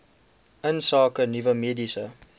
insake nuwe mediese